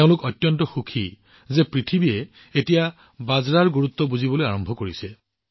তেওঁলোক যথেষ্ট সুখী যে বিশ্ববাসীয়ে এতিয়া বাজৰাৰ গুৰুত্ব বুজিবলৈ আৰম্ভ কৰিছে